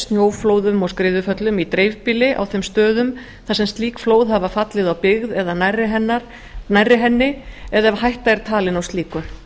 snjóflóðum og skriðuföllum í dreifbýli á þeim stöðum þar sem slík flóð hafa fallið á byggð eða nærri henni eða hætta er talin á slíku